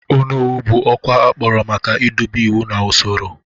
Onowu bụ ọkwa akpọrọ maka idobe iwu na usoro.